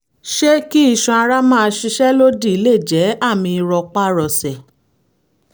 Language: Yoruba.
ṣé kí iṣan ara máa ṣiṣẹ́ lòdì lè jẹ́ àmì rọpárọsẹ̀?